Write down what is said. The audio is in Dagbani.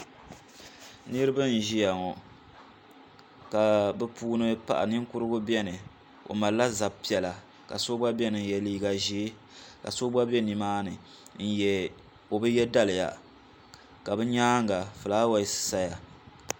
Niriba n ʒia ŋɔ ka bɛ puuni paɣa Ninkurigu biɛni o malila zab'piɛlla ka so gba biɛni ka ye liiga ʒee ka so gba be nimaani n o bi ye daliya ka bɛ nyaanga filaawaasi saya.